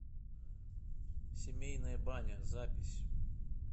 семейная баня запись